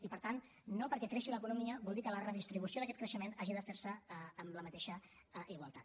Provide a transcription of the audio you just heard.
i per tant no perquè creixi l’economia vol dir que la redistribució d’aquest creixement hagi de fer se amb la mateixa igualtat